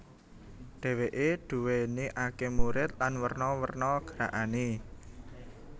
Dheweke duwéni akeh murid lan werna werna gerakane